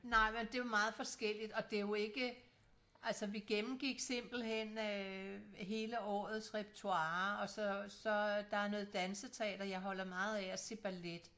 Nej det jo meget forskelligt og det jo ikke altså vi gennemgik simpelthen øh hele årets repertoire og så så der er noget danseteater jeg holder meget af at se ballet